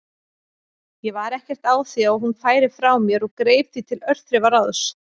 Ég var ekkert á því að hún færi frá mér og greip því til örþrifaráðs.